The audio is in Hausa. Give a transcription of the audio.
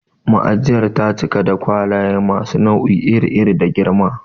Ma'ajiyar ta cika da kwalaye masu nau'i iri iri da girma.